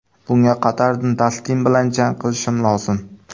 Bunga qadar Dastin bilan jang qilishim lozim.